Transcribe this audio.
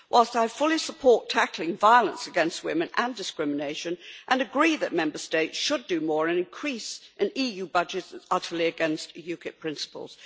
Whilst I fully support tackling violence against women and discrimination, and agree that Member States should do more, an increase in the EU budget is utterly against UKIP principles.